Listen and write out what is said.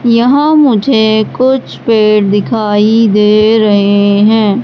यहां मुझे कुछ पेड़ दिखाई दे रहे हैं।